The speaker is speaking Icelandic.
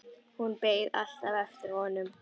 Hún beið alltaf eftir honum.